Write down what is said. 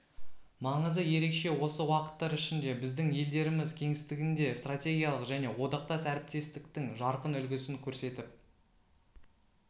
маңызы ерекше осы уақыттар ішінде біздің елдеріміз кеңістігінде стратегиялық және одақтас әріптестіктің жарқын үлгісін көрсетіп